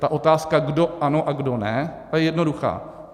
Ta otázka, kdo ano a kdo ne, je jednoduchá.